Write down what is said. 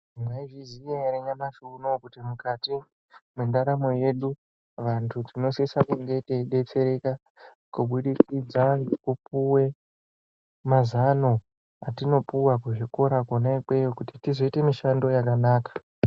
Mwaizviziya ere nyamushi unou kuti mukati mwendaramo yedu vanthu tinosise kunge teidetsereka kubudikidza ngekupuwe mazano etinopuwa kuzvikora kwona ikweyo kuti tizoita mishando yakanaka.